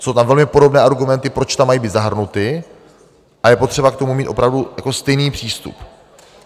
Jsou tam velmi podobné argumenty, proč tam mají být zahrnuty, a je potřeba k tomu mít opravdu stejný přístup.